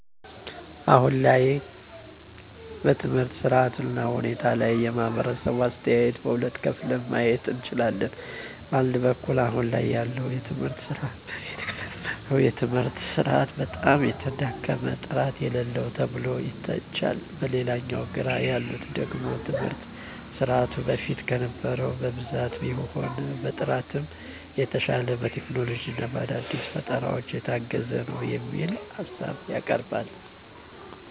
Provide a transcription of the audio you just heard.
አሁን ላይ በትምህርት ስርዓቱ እና ሁኔታ ላይ የማህበረሰቡ አስተያየት በሁለት ከፍለን ማየት እንችላለን። በአንድ በኩል አሁን ላይ ያለውን የትምህርት ስርዓት በፊት ከነበረው የትምህርት ስርዓት በጣም የተዳከመ፣ ጥራት የሌለው ተብሎ ይተቻል። በሌላኛው ጎራ ያሉት ደግሞ ትምህርት ስርዓቱ በፊት ከነበረው በብዛትም ሆነ በጥራትም የተሻለ፣ በቴክኖሎጂ እና በአዳዲስ ፈጠራዎች የታገዘ ነው የሚል ሀሳብ ያቀርባሉ።